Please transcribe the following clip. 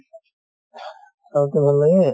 south ৰ ভাল লাগে?